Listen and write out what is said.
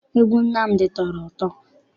Egwu Nnamdi tọrọ ụtọ.